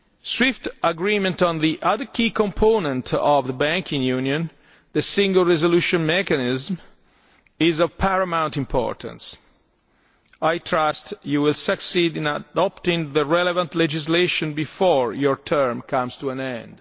night. Swift agreement on the other key component of Banking Union the Single Resolution Mechanism is of paramount importance. I trust you will succeed in adopting the relevant legislation before your term comes to